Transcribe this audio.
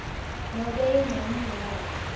nobe incenye yalo